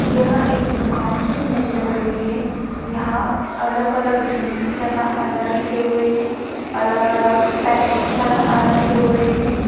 यह एक दुकान की इमेज लग रही है यहाँ अलग-अलग ड्रिंक्स लगा अंदर रखे हुए हैं अलग-अलग पैकेट्स लगा आ रखे हुए है।